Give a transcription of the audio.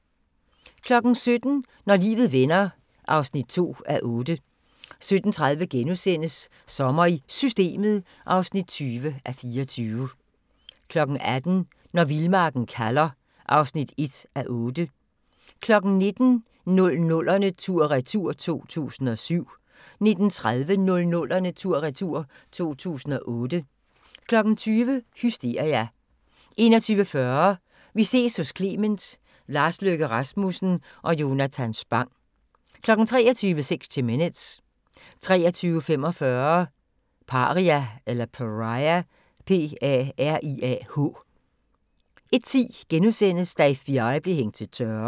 17:00: Når livet vender (2:8) 17:30: Sommer i Systemet (20:24)* 18:00: Når vildmarken kalder (1:8) 19:00: 00'erne tur-retur: 2007 19:30: 00'erne tur-retur: 2008 20:00: Hysteria 21:40: Vi ses hos Clement: Lars Løkke Rasmussen og Jonathan Spang 23:00: 60 Minutes 23:45: Pariah 01:10: Da FBI blev hængt til tørre *